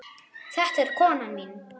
Þetta er konan mín.